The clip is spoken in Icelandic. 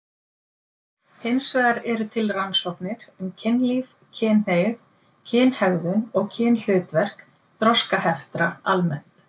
Hins vegar eru til rannsóknir um kynlíf, kynhneigð, kynhegðun og kynhlutverk þroskaheftra almennt.